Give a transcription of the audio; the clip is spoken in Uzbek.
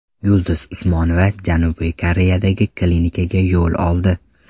Yulduz Usmonova Janubiy Koreyadagi klinikaga yo‘l oldi .